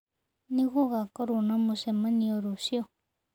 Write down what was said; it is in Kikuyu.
Nĩ gũgakorũo na mũcemanio rũciũ.